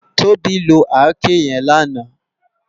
Tobi ló àké yèn làná